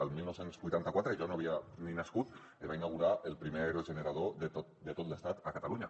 el dinou vuitanta quatre jo no havia ni nascut es va inaugurar el primer aerogenerador de tot l’estat a catalunya